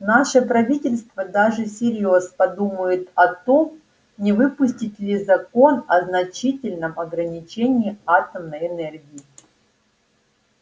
наше правительство даже всерьёз подумывает о том не выпустить ли закон о значительном ограничении атомной энергии